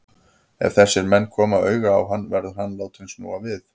Ef þessir menn koma auga á hann, verður hann látinn snúa við.